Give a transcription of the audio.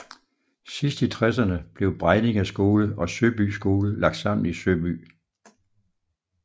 Sidst i tresserne blev Bregninge Skole og Søby Skole lagt sammen i Søby